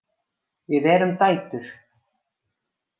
Við erum dætur!